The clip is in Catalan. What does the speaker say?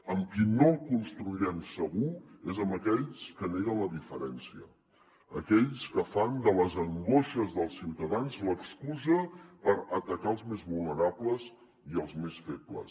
amb qui no el construirem segur és amb aquells que neguen la diferència aquells que fan de les angoixes dels ciutadans l’excusa per atacar els més vulnerables i els més febles